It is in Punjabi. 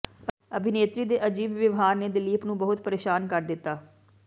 ਅਭਿਨੇਤਰੀ ਦੇ ਅਜੀਬ ਵਿਵਹਾਰ ਨੇ ਦਿਲੀਪ ਨੂੰ ਬਹੁਤ ਪਰੇਸ਼ਾਨ ਕਰ ਦਿੱਤਾ